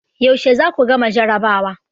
Yaushe za ku gama jarabawa?